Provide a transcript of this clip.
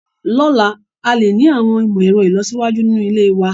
Lọ́la, a lè ní àwọn ìmọ̀ ẹ̀rọ ìlọsíwájú nínú ilé wa.